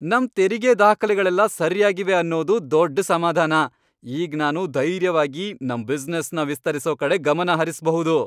ನಮ್ ತೆರಿಗೆ ದಾಖಲೆಗಳೆಲ್ಲ ಸರ್ಯಾಗಿವೆ ಅನ್ನೋದು ದೊಡ್ಡ್ ಸಮಾಧಾನ. ಈಗ್ ನಾನು ಧೈರ್ಯವಾಗಿ ನಮ್ ಬಿಸ್ನೆಸ್ನ ವಿಸ್ತರ್ಸೋ ಕಡೆ ಗಮನಹರಿಸ್ಬಹುದು.